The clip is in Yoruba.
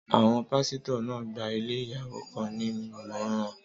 Àwọn pásítọ̀ náà gba ilé ìyàwó kan ní ìmọ̀ràn.